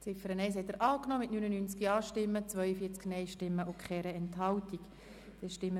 Sie haben die Abschreibung der Ziffer 1 mit 72 Ja- gegen 68 Nein-Stimmen bei 0 Enthaltungen angenommen.